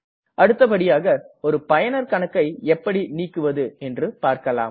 அடுத்தபடியாக ஒரு பயனர் கணக்கை எப்படி நீக்குவது என்று பார்க்கலாம்